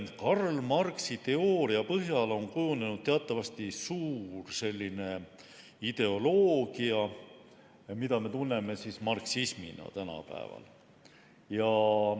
Karl Marxi teooria põhjal on kujunenud teatavasti suur ideoloogia, mida me tänapäeval tunneme marksismina.